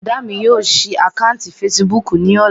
Bùrọ̀dá mi yóò ṣí àkáǹtì fesibúùkù ní ọ̀la